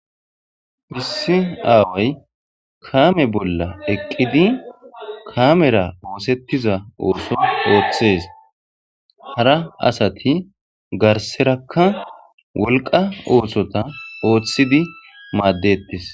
Phissi aaway kaame bolla eqqidi kamera oosettiza ooso ooththees hara asati garserakka wolqa oosota ooththidi maaddettis.